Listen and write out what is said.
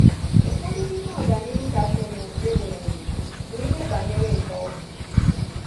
Ụfọdụ n’ime ọganihu kasịnụ e nweworo bụ n’ihe banyere nkà ọgwụ.